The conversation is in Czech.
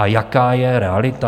A jaká je realita?